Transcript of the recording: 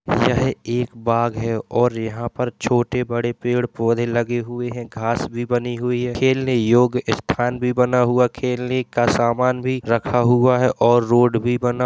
यह एक बाग है और यहाँ पे छोटे-बड़े पेड़-पौधे लगे हुए हैं घास भी बनी हुई है खेलने योग्य स्थान भी बना हुआ। खेलने का सामान रखा हुआ है और रोड भी बना --